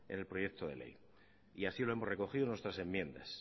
en el proyecto de ley y así lo hemos recogido en nuestras enmiendas